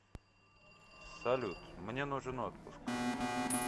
салют мне нужен отпуск